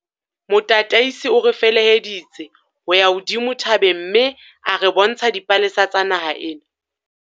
motataisi o re feleheditse ho ya hodimo thabeng mme a re bontsha dipalesa tsa naha ena.